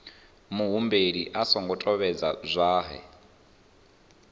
muhumbeli a songo tevhedza zwohe